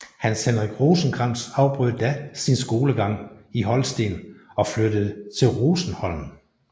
Hans Henrik Rosenkrantz afbrød da sin skolegang i Holsten og flyttede til Rosenholm